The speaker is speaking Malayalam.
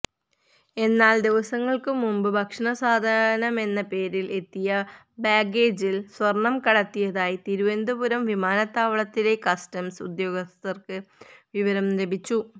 എന്നാൽ ദിവസങ്ങൾക്ക് മുമ്പ് ഭക്ഷണസാധനമെന്ന പേരിൽ എത്തിയ ബാഗേജിൽ സ്വർണം കടത്തിയതായി തിരുവനന്തപുരം വിമാനത്താവളത്തിലെ കസ്റ്റംസ് ഉദ്യോഗസ്ഥർക്ക് വിവരം ലഭിച്ചു